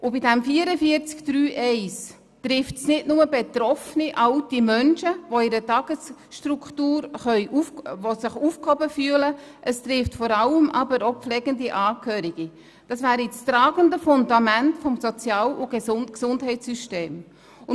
Bei der Massnahme 44.3.1 trifft es nicht nur alte Menschen, die sich in einer Tagesstruktur aufgehoben füllen, es trifft vor allem pflegende Angehörige, also das tragende Fundament des Sozial- und Gesundheitssystems.